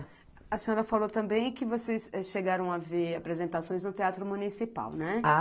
A senhora falou também que vocês chegaram a ver apresentações no Teatro Municipal, né?